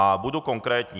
A budu konkrétní.